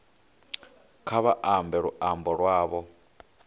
kha vha ambe luambo lwavho